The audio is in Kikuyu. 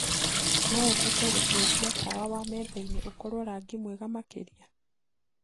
noũhote gucenjia tawa wa methaĩnĩ ũkorwo rangĩ mwega makĩrĩa